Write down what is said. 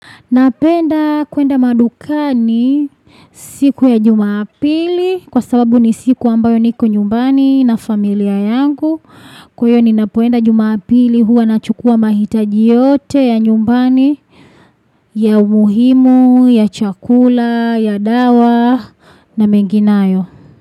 Napenda kuenda madukani siku ya jumapili kwa sababu ni siku ambayo niko nyumbani na familia yangu. Kwa hiyo ninapoenda jumapili huwa na chukua mahitaji yote ya nyumbani ya umuhimu, ya chakula, ya dawa na mengi nayo.